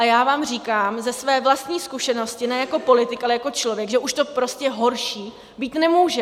A já vám říkám ze své vlastní zkušenosti ne jako politik, ale jako člověk, že už to prostě horší být nemůže.